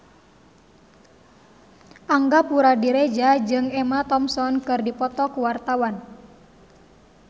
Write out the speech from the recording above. Angga Puradiredja jeung Emma Thompson keur dipoto ku wartawan